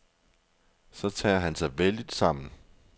Så tager han sig vældigt sammen.